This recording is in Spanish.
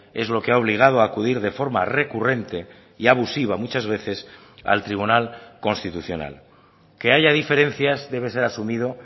es lo que ha obligado a acudir de forma recurrente y abusiva muchas veces al tribunal constitucional que haya diferencias debe ser asumido